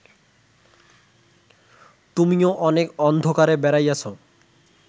তুমিও অনেক অন্ধকারে বেড়াইয়াছ